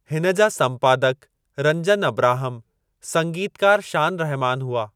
हिन जा संपादकु रंजन अब्राहम, संगीतकारु शान रहमान हुआ।